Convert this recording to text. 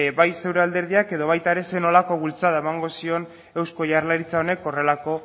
bai zeure alderdiak edo baita ere zer nolako bultzada emango zion eusko jaurlaritza honek horrelako